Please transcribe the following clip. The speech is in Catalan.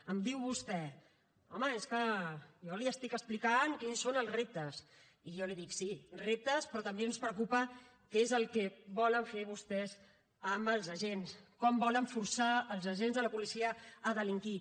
em diu vostè home és que jo li estic explicant quins són els reptes i jo li dic sí reptes però també ens preocupa què és el que volen fer vostès amb els agents com volen forçar els agents de la policia a delinquir